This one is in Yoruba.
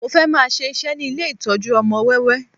Mo fẹ́ máa ṣe iṣẹ́ ní ilé ìtọ́jú ọmọ wẹ́wẹ́